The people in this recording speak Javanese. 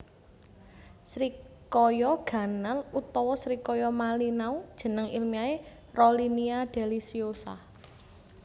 Srikaya ganal utawa srikaya malinau jeneng ilmiahé Rollinia deliciosa